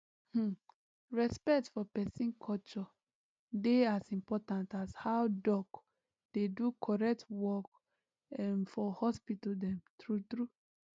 hmmm respect for peson culture dey as important as how doc dey do correct work um for hospital dem true true